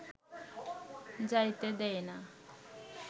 যাইতে দেয় না